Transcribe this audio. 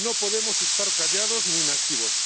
No podemos estar callados ni inactivos.